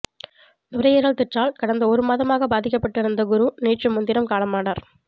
நுரையீரல் தொற்றால் கடந்த ஒரு மாதமாக பாதிக்கப்பட்டு இருந்த குரு நேற்று முன் தினம் காலமானார்